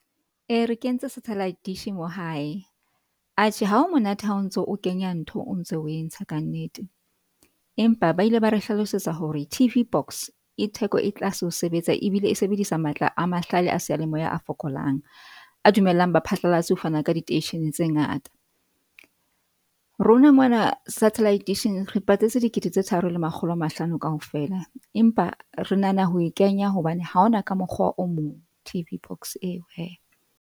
E re kentse satellite dish mo hae atjhe ha ho monate ha o ntso, o kenya ntho, o ntso o e ntsha ka nnete. Empa ba ile ba re hlalosetsa hore T_V box e theko e tlase ho sebetsa ebile e sebedisa matla a mahlale a seyalemoya a fokolang, a dumelang baphatlalatsi ho fana ka diteishene tse ngata. Rona mona satellite dish-ing re patetse dikete tse tharo le makgolo a mahlano kaofela. Empa re nahana ho e kenya hobane ha hona ka mokgwa o mong T_V box eo hee.